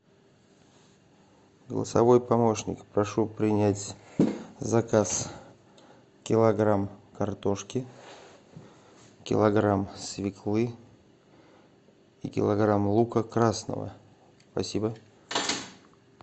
голосовой помощник прошу принять заказ килограмм картошки килограмм свеклы и килограмм лука красного спасибо